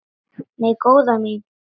Nei, góða mín.